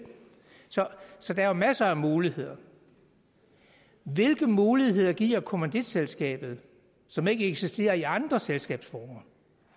så der er jo masser af muligheder hvilke muligheder giver kommanditselskaber som ikke eksisterer i andre selskabsformer